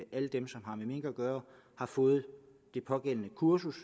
mink at gøre har fået det pågældende kursus